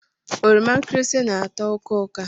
Oroma nkirisi na-atọ ụka ụka.